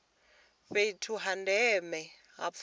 fhethu ha ndeme ha pfunzo